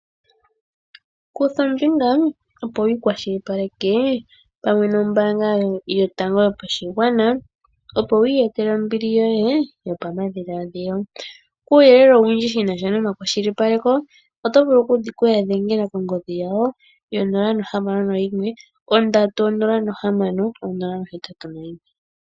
Kutha ombinga opo wi ikwashilipaleke pamwe nombaanga yotango yopashigwana, opo wu iyetele ombili yoye yopamadhiladhilo. Kuuyelele owundji shi na sha nomakwashilipaleko oto vulu oku ya dhengela kongodhi yawo yo 061306081